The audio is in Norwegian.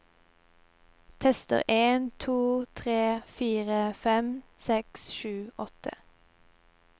Tester en to tre fire fem seks sju åtte